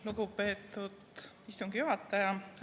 Lugupeetud istungi juhataja!